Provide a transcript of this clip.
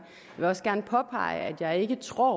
vil også gerne påpege at jeg ikke tror